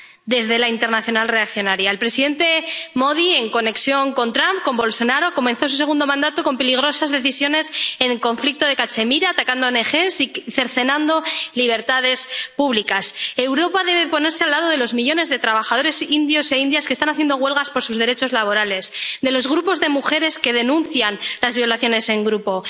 desde la internacional reaccionaria. El primer ministro Modi, en conexión con Trump, con Bolsonaro, comenzó su segundo mandato con peligrosas decisiones en el conflicto de Cachemira atacando a ONG y cercenando libertades públicas. Europa debe ponerse al lado de los millones de trabajadores indios e indias que están haciendo huelgas por sus derechos laborales de los grupos de mujeres que denuncian las violaciones en grupo.